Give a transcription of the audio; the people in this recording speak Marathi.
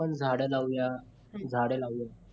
आपण झाडं लावूया झाडं लावूया